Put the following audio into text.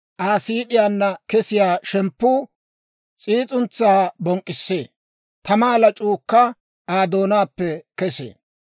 Aa siid'iyaanna kesiyaa shemppuu s'iis'untsaa bonk'k'issee; tamaa lac'uukka Aa doonaappe kesee.